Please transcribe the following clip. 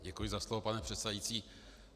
Děkuji za slovo, pane předsedající.